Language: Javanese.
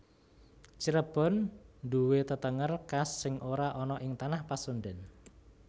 Cirebon nduwe tetenger khas sing ora ana ing tanah Pasundan